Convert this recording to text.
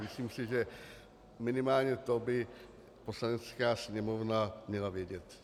Myslím si, že minimálně to by Poslanecká sněmovna měla vědět.